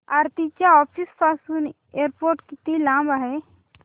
आरती च्या ऑफिस पासून एअरपोर्ट किती लांब आहे